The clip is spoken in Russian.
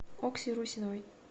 окси русиновой